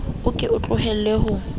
o ke o tlohelle ho